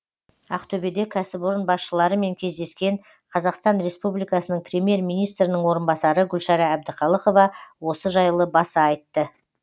ақтөбеде кәсіпорын басшыларымен кездескен қазақстан республикасының премьер министрінің орынбасары гүлшара әбдіқалықова осы жайлы баса айтты